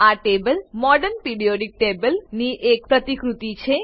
આ table modern periodic table ની એક પ્રતિકૃતિ છે